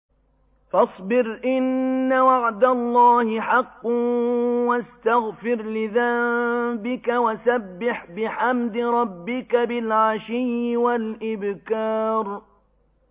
فَاصْبِرْ إِنَّ وَعْدَ اللَّهِ حَقٌّ وَاسْتَغْفِرْ لِذَنبِكَ وَسَبِّحْ بِحَمْدِ رَبِّكَ بِالْعَشِيِّ وَالْإِبْكَارِ